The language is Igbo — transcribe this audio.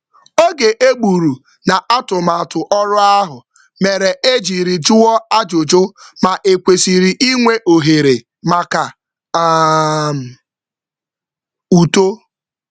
Igbu oge oru ngo mepụtara ohere maka mkparịta ụka na-ekwenyeghị ekwenye banyere ohere mmepe onwe.